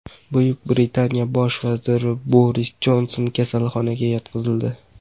Buyuk Britaniya bosh vaziri Boris Jonson kasalxonaga yotqizildi.